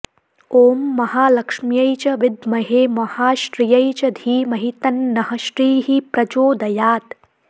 ॐ महालक्ष्म्यै च विद्महे महाश्रियै च धीमहि तन्नः श्रीः प्रचोदयात्